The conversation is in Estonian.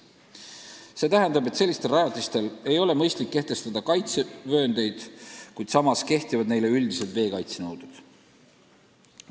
See tähendab, et selliste rajatiste puhul ei ole mõistlik kehtestada kaitsevööndeid, kuid samas kehtivad neile üldised veekaitsenõuded.